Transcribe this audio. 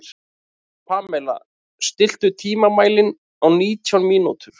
Pamela, stilltu tímamælinn á nítján mínútur.